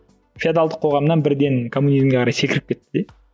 феодалдық қоғамнан бірден коммунизмге қарай секіріп кетті де